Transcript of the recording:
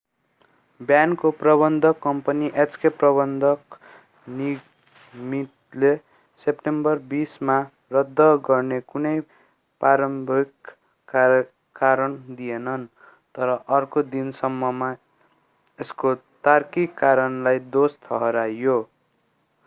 ब्यान्डको प्रबन्धक company hk प्रबन्धक निगमितले सेप्टेम्बर 20 मा रद्द गर्दा कुनै प्रारम्भिक कारण दिएन तर अर्को दिनसम्ममा यसको तार्किक कारणलाई दोषी ठहर्‍यायो।